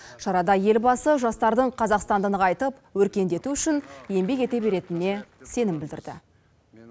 шарада елбасы жастардың қазақстанды нығайтып өркендету үшін еңбек ете беретініне сенім білдірді